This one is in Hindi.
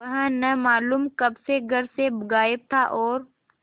वह न मालूम कब से घर से गायब था और